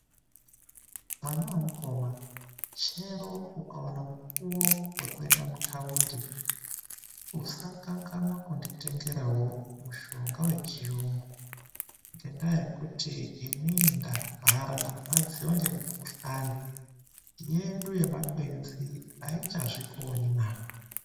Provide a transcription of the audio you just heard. Mwana wemukoma chero ukaona mukuwo wekuenda muthaundi usakanganwa kunditengerawo mushonga wechiyungu. Ngendaa yekuti inini ndarwara ndarwadziwa ngemukhuhlani. Yedu yemakwenzi aichazvikoni na!.